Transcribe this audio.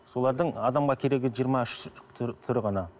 солардың адамға керегі жиырма үш түрі ғана